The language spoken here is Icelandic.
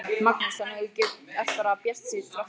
Magnús: Þannig að þú ert bara bjartsýnn þrátt fyrir allt?